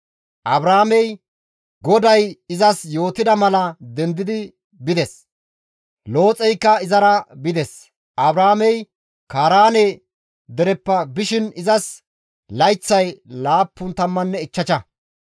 Abraamey GODAY izas yootida mala dendi bides; Looxeykka izara bides; Abraamey Kaaraane dereppe bishin izas layththay laapun tammanne ichchasha.